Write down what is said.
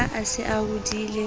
ha a se a hodile